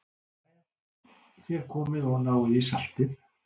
Jæja, þér komið og náið í saltið.